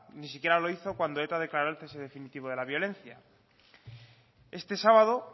ni siquiera lo hizo cuando eta declaro el cese definitivo de la violencia este sábado